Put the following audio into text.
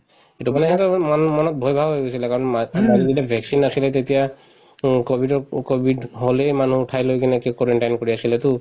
সিটো মানে এনেকে কৈ মন মনত ভয় ভাব হৈ গৈছিলে কাৰণ মাৰ মাৰি দিলে vaccine আছিলে তেতিয়া উম কভিডত উম কভিড হলেই মানুহক উঠাই লৈ কিনে কি quarantine কৰি আছিলেতো